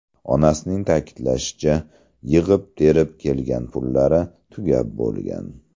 Onasining ta’kidlashicha, yig‘ib-terib kelgan pullari tugab bo‘lgan.